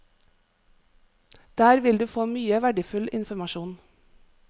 Der vil du få mye verdifull informasjon.